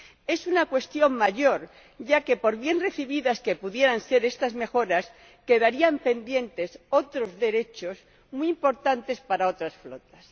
Es una cuestión mayor, ya que, por bien recibidas que pudieran ser estas mejoras, quedarían pendientes otros derechos muy importantes para otras flotas.